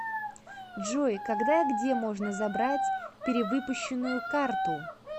джой когда и где можно забрать перевыпущенную карту